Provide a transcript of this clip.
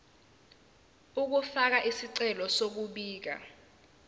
ukufaka isicelo sokubika